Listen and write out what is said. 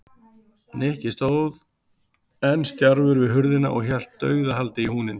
Nikki stóð enn stjarfur við hurðina og hélt dauðahaldi í húninn.